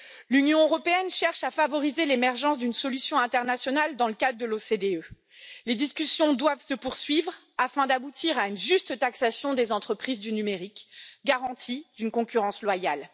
L'Union européenne cherche à favoriser l'émergence d'une solution internationale dans le cadre de l'OCDE. Les discussions doivent se poursuivre afin d'aboutir à une juste taxation des entreprises du numérique, garantie d'une concurrence loyale.